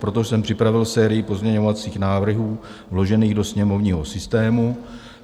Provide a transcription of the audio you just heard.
Proto jsem připravil sérii pozměňovacích návrhů vložených do sněmovního systému.